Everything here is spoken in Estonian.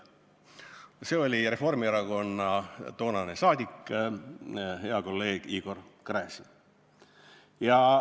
" See oli Reformierakonna toonane saadik, hea kolleeg Igor Gräzin.